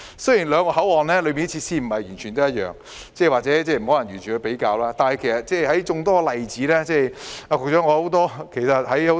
雖然兩個口岸的設施並非完全一樣，或許並不可以完全作比較，但這只是眾多例子之一。